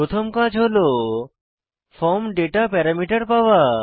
প্রথম কাজ হল ফর্ম ডেটা প্যারামিটার পাওয়া